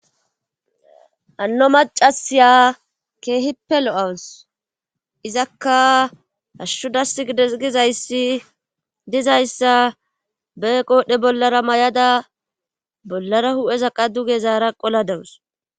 anno macasiya keehipelo7awus izakka ashshudas gides gizayssi dizayssa be qoodhe bollara may7ada bollara hu7eza qa duge zaara qoladawus